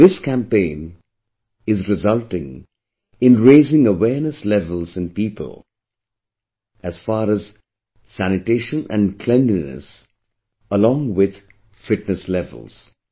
This campaign is resulting in raising awareness levels in people; as far as sanitation and cleanliness, along with fitness levels